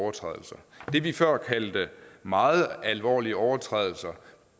overtrædelser det vi før kaldte meget alvorlige overtrædelser